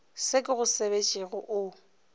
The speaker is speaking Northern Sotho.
se ke go sebetšego o